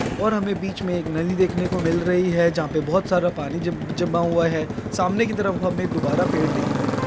और हमे बीच में एक नदी देखने को मिल रही है जहाँ पे बहोत सारा पानी जम- जमा हुआ है सामने की तरफ हमें दुबारा पेड़ दिखता है।